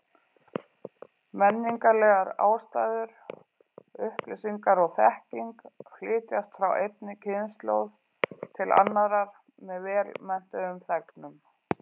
Menningarlegar ástæður: Upplýsingar og þekking flytjast frá einni kynslóð til annarrar með vel menntuðum þegnum.